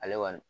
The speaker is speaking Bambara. Ale kɔni